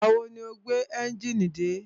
Ìgbà wo ni o gbé ẹ́njìnì dé?